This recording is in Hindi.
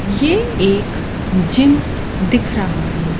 ये एक जिम दिख रहा है।